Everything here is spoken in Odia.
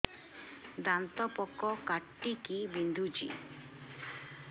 ଦାନ୍ତ ପୋକ କାଟିକି ବିନ୍ଧୁଛି